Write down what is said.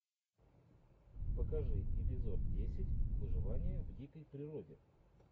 покажи эпизод десять выживание в дикой природе